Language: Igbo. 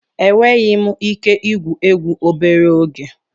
Enweghị m ike igwu egwu obere oge.